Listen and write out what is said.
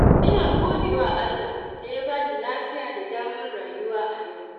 Ina godewa Allah da ya bani lafiya da damar rayuwa a yau.